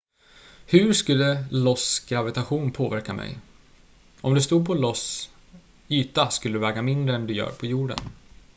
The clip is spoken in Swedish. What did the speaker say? hur skulle ios gravitation påverka mig om du stod på ios yta skulle du väga mindre än du gör på jorden